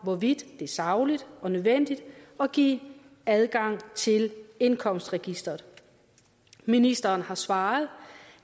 hvorvidt det er sagligt og nødvendigt at give adgang til indkomstregisteret ministeren har svaret